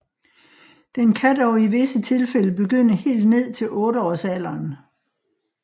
Den kan dog i visse tilfælde begynde helt ned til otteårsalderen